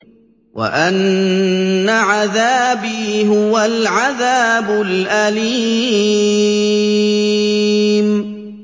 وَأَنَّ عَذَابِي هُوَ الْعَذَابُ الْأَلِيمُ